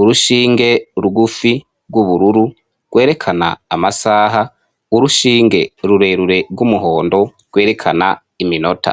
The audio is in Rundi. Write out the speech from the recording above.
urushinge rugufi rw'ubururu, rwerekana amasaha, urushinge rurerure rw'umuhondo, rwerekana iminota.